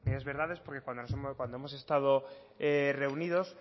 medidas verdades porque cuando hemos estado reunidos